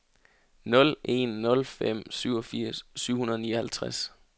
nul en nul fem syvogfirs syv hundrede og nioghalvtreds